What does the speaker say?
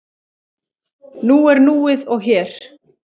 Nú er núið og hér.